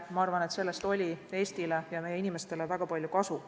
Ma arvan, et sellest oli Eestile ja meie inimestele väga palju kasu.